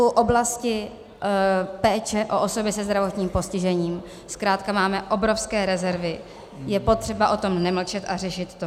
V oblasti péče o osoby se zdravotním postižením zkrátka máme obrovské rezervy, je potřeba o tom nemlčet a řešit to.